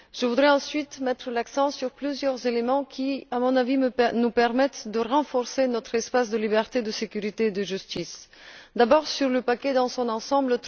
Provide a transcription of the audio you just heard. Je voudrais ensuite mettre l'accent sur plusieurs éléments qui, à mon avis, nous permettent de renforcer notre espace de liberté, de sécurité et de justice. D'abord, trois remarques sur le paquet dans son ensemble.